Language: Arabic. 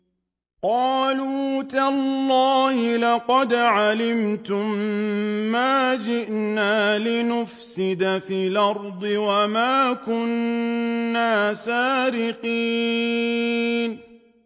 قَالُوا تَاللَّهِ لَقَدْ عَلِمْتُم مَّا جِئْنَا لِنُفْسِدَ فِي الْأَرْضِ وَمَا كُنَّا سَارِقِينَ